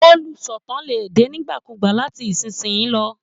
Olùsọ̀tàn lè dé nígbàkúùgbà láti ìsinsìnyí lọ